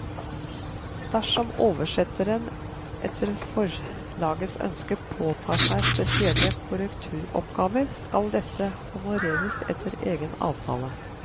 Dersom oversetteren etter forlagets ønske påtar seg spesielle korrekturoppgaver, skal dette honoreres etter egen avtale.